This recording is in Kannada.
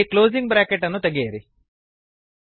ಇಲ್ಲಿ ಕ್ಲೋಸಿಂಗ್ ಬ್ರಾಕೆಟ್ ಅನ್ನು ತೆಗೆಯಿರಿ